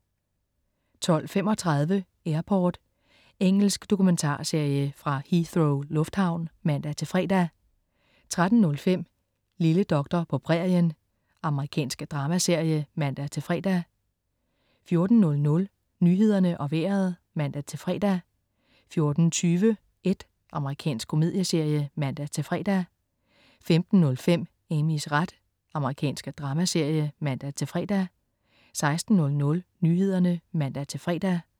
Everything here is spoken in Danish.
12.35 Airport. Engelsk dokumentarserie fra Heathrow lufthavn (man-fre) 13.05 Lille doktor på prærien. Amerikansk dramaserie (man-fre) 14.00 Nyhederne og Vejret (man-fre) 14.20 Ed. Amerikansk komedieserie (man-fre) 15.05 Amys ret. Amerikansk dramaserie (man-fre) 16.00 Nyhederne (man-fre)